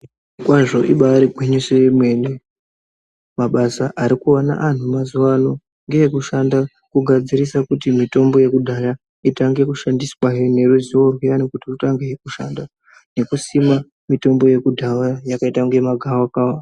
Kwazvo ibaari gwinyiso yemene ,mabasa ari kuwana anhu mazuwa ano ngeekushanda kugadzirisa kuti mitombo yekudhaya itange kushandiswahe neruzivo rwuyani kuti rwutange kushanda nekusima mitombo yekudhaya yakaita unge magavakava.